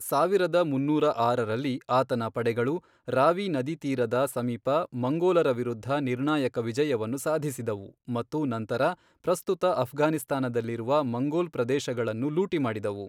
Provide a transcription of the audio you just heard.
ಸಾವಿರದ ಮುನ್ನೂರ ಆರರಲ್ಲಿ, ಆತನ ಪಡೆಗಳು, ರಾವಿ ನದಿತೀರದ ಸಮೀಪ ಮಂಗೋಲರ ವಿರುದ್ಧ ನಿರ್ಣಾಯಕ ವಿಜಯವನ್ನು ಸಾಧಿಸಿದವು ಮತ್ತು ನಂತರ ಪ್ರಸ್ತುತ ಅಫ್ಘಾನಿಸ್ತಾನದಲ್ಲಿರುವ ಮಂಗೋಲ್ ಪ್ರದೇಶಗಳನ್ನು ಲೂಟಿ ಮಾಡಿದವು.